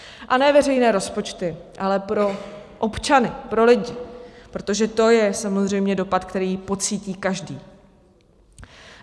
A ne veřejné rozpočty, ale pro občany, pro lidi, protože to je samozřejmě dopad, který pocítí každý.